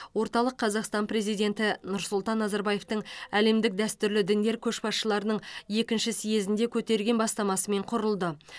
орталық қазақстан президенті нұрсұлтан назарбаевтың әлемдік дәстүрлі діндер көшбасшыларының екінші съезінде көтерген бастамасымен құрылды